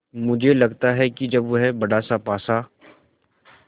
मुझे लगता है कि जब वह बड़ासा पासा